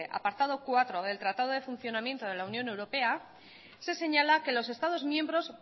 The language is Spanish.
apartado cuatro del tratado de funcionamiento de la unión europea se señala que los estados miembros